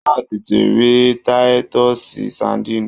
Wọ́n á tètè rí táítọ́ọ̀sì sadíìnì